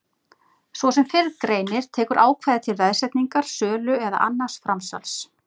Svo sem fyrr greinir tekur ákvæðið til veðsetningar, sölu eða annars framsals.